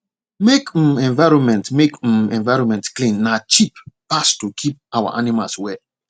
make um environment make um environment clean na cheap pass to keep our animals well